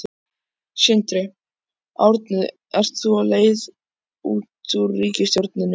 Sindri: Árni ert þú á leið út úr ríkisstjórninni?